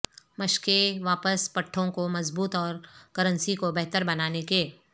مشقیں واپس پٹھوں کو مضبوط اور کرنسی کو بہتر بنانے کے